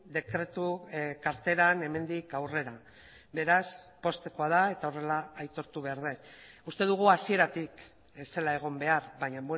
dekretu karteran hemendik aurrera beraz poztekoa da eta horrela aitortu behar dut uste dugu hasieratik ez zela egon behar baina